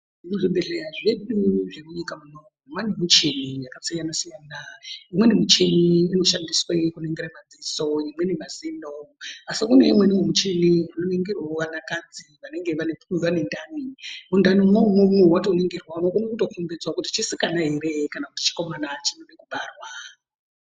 Muzvibhedhlera zvedu zvemunyika muno maane michini yakasiyana-siyana. Imweni michini inoshandiswe kuningire madziso, imweni mazino, asi kune imweni michini inoningire anakadzi, vanenge vane ndani. Mundanimwo umwomwo, watoringirwa unokone kutokombidzwa kuti chisikana ere kana chikomana chinode kubarwa.